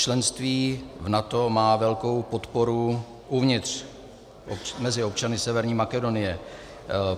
Členství v NATO má velkou podporu uvnitř mezi občany Severní Makedonie.